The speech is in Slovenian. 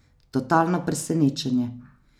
Totalno presenečenje.